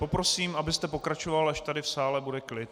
Poprosím, abyste pokračoval, až tady v sále bude klid.